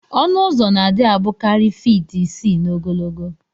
Ọnụ ụzọ na adi abukari feet isi na ogologo